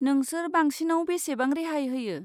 नोंसोर बांसिनाव बेसेबां रेहाय होयो?